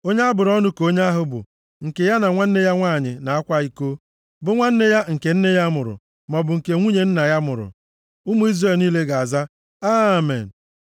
“Onye a bụrụ ọnụ ka onye ahụ bụ, nke ya na nwanne ya nwanyị na-akwa iko, bụ nwanne ya nke nne ya mụrụ, maọbụ nke nwunye nna ya mụrụ.” Ụmụ Izrel niile ga-aza, “Amen.”